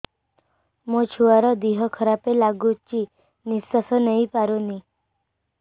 ମୋ ଛୁଆର ଦିହ ଖରାପ ଲାଗୁଚି ନିଃଶ୍ବାସ ନେଇ ପାରୁନି